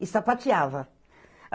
E sapateava.